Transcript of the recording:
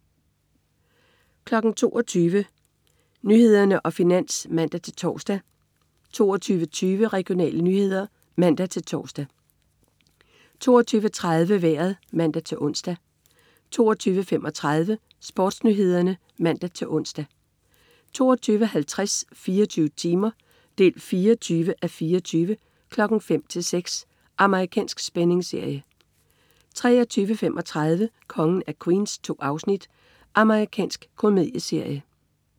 22.00 Nyhederne og Finans (man-tors) 22.20 Regionale nyheder (man-tors) 22.30 Vejret (man-ons) 22.35 SportsNyhederne (man-ons) 22.50 24 timer 24:24. 05:00-06:00. Amerikansk spændingsserie 23.35 Kongen af Queens. 2 afsnit. Amerikansk komedieserie